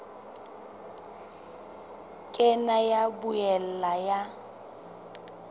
ka nna ya boela ya